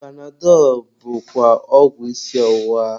Panadọlụ bụkwa ọgwụ isi ọwụwa.